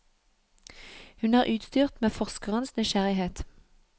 Hun er utstyrt med forskerens nysgjerrighet.